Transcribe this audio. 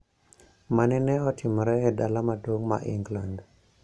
Ma nene otimore e dala maduong` ma England